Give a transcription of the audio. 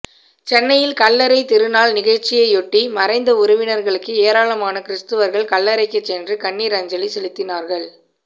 சென்னையில் கல்லறை திருநாள் நிகழ்ச்சியையொட்டி மறைந்த உறவினர்களுக்கு ஏராளமான கிறிஸ்தவர்கள் கல்லறைக்கு சென்று கண்ணீர் அஞ்சலி செலுத்தினார்கள்